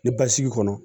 Ni basigi kɔnɔ